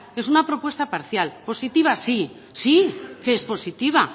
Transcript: es una propuesta parcia positiva sí sí que es positiva